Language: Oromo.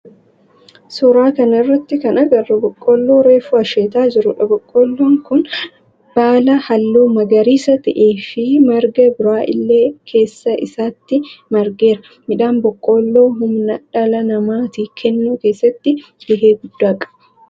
Suuraa kana irratti kan agarru boqqoolloo reefu asheetaa jirudha. Boqqoolloon kun baala halluu magariisa ta'e fi marga biraa illee keessa isaatti margeera. Midhaan boqqoolloo humna dhala namatii kennuu keessatti gahee guddaa qaba.